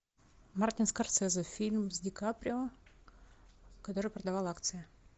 мартин скорсезе фильм с ди каприо который продавал акции